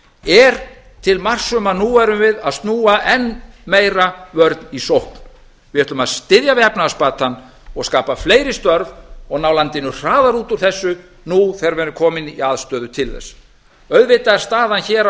er til marks um að nú erum við að snúa enn meira vörn í sókn við ætlum að styðja við efnahagsbatann og skapa fleiri störf og ná landinu hraðar út úr þessu nú þegar við erum komin í aðstöðu til þess auðvitað er staðan hér